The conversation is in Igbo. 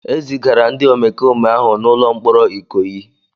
E zigara ndị omekome ahụ n'ụlọ mkpọrọ Ikoyi.